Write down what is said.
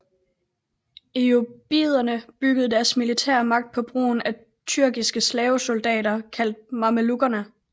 Ayyubiderne byggede deres militære magt på brugen af tyrkiske slavesoldater kaldt mamelukkerne